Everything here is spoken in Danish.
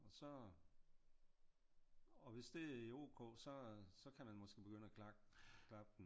Og så og hvis det er ok så kan man måske begynde at klap den